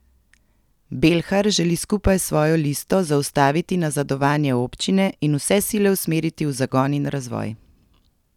Belhar želi skupaj s svojo listo zaustaviti nazadovanje občine in vse sile usmeriti v zagon in razvoj.